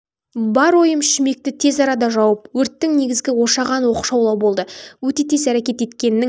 бар ойым шүмекті тез арада жауып өрттің негізгі ошаған оқшаулау болды өте тез әрекет еткеннің